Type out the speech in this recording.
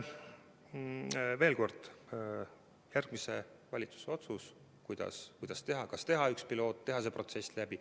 Veel kord: on järgmise valitsuse otsustada, kuidas teha, kas teha üks pilootprojekt, teha see protsess läbi.